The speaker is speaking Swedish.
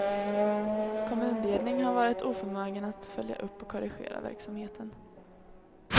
Kommunledning har varit oförmögen att följa upp och korrigera verksamheten.